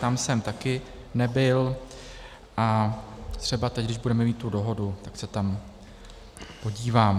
Tam jsem taky nebyl a třeba teď, když budeme mít tu dohodu, tak se tam podívám.